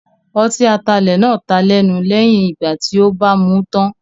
Ọtí atalẹ̀ náà taa lẹ́nu lẹ́yìn ìgbà tí ó bàa mú tán.